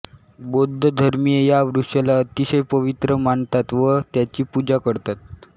बौद्ध धर्मीय या वृक्षाला अतिशय पवित्र मानतात व त्याची पूजा करतात